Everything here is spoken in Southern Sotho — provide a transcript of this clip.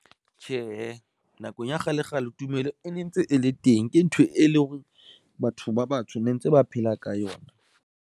Tjhe, nakong ya kgale kgale tumelo e ne ntse e le teng, ke ntho e leng hore batho ba batsho ne ntse ba phela ka yona.